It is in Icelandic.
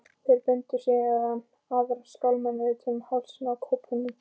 Þeir bundu síðan aðra skálmina utan um hálsinn á kópnum.